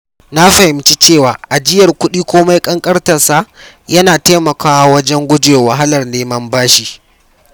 Na fahimci cewa ajiyar kuɗi komai ƙanƙantarsa yana taimakawa wajen guje wa wahalar neman bashi.